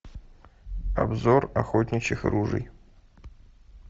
обзор охотничьих ружий